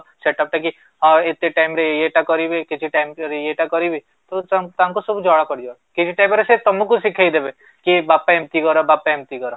set up ଟା କି ହଁ, ଏତେ time ରେ ଇଏ ଟା କରିବି କିଛି time ଯଦି ଇଏ ଟା କରିବି ତ ତାଙ୍କୁ ସବୁ ଜଣା ପଡିବ କିଛି time ପରେ ସେ ତ ତମଙ୍କୁ ଶିଖେଇଦେବେ କି ବାପା ଏମିତି କର ବାପା ଏମିତି କର